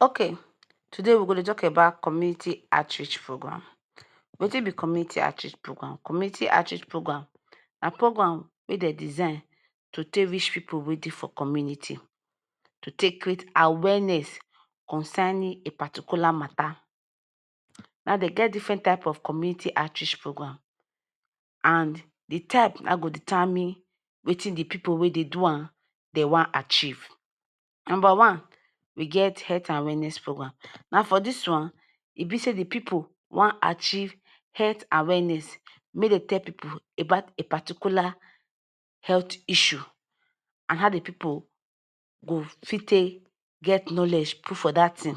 Ok today we go dey tok about community outreach programmes. Wetin be community outreach program? Community outreach program na program wey dem design to take reach pipu wey dey for community to take create awareness concerning one particular matta. Now them get diffren type of community outreach program and di type na im go determine wetin di pipu wey dey do am dey wan achieve. Numba one, we get health awareness program. Na for dis one e be say di pipu wan archive health awareness make dem tok to pipu about a particular health issue and how di pipu go fit take get knowledge put for dat tin.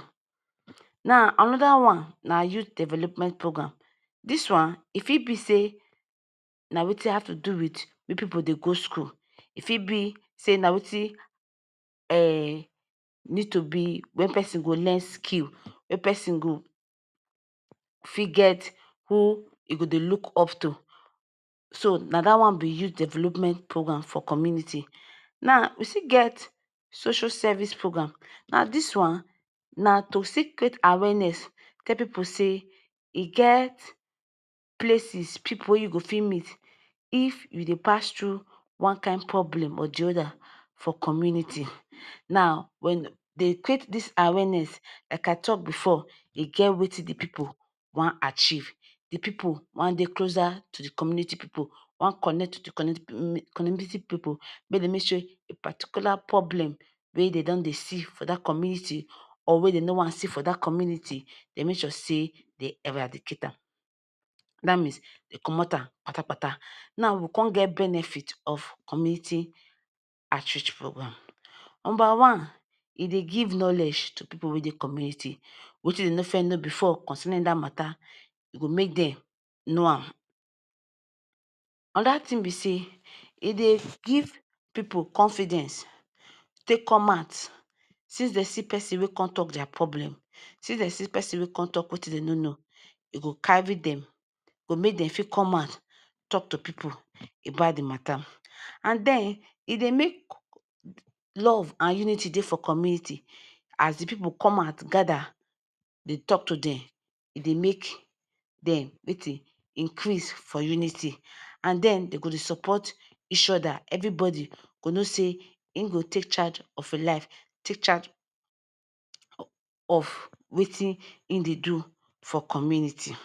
Anoda one na youth development program. Dis one fit be say na wetin have to do wit pipu wey dey go school, e fit be say na wetin um need to be wen pesin go learn skill, wey person go fit get who im go dey look up to. so Na dat one be youth development program for community. Now We still get social services program. Now Dis one na to still create awareness tell people say e get places pipu wey you fit meet if you dey pass through one kain problem or the other for community. Now when dey take this awareness. Like I tok bifor, e get wetin di pipu wan archive, de people wan dey closer to the community people wan connect wit di community pipu, make dem make sure a particular problem wey dey don dey see for that community or wey dey no wan see for that community dey make sure say dey eradicate am that means dem comot am kpatakpata. Now, we come get benefit of community outreach programmes? Number one, e dey give knowledge to pipu wey dey community. Wetin dem no know bifor concerning matta, e go make dem know am. Anoda thing be say, e dey give pipu confidence take come out since they see person wey come talk their problem, since they see person wey come talk wetin dem no know. E go carry them, e go make them fit come out, come talk to people about the matter. And den, e dey make love and unity dey for community. As the pipu come out gada dey tok to them, e dey make them meeting increase for unity. And the dey go dey support each other evri bodi go know say im go take charge of im life take charge of wetin em dey do dey for community.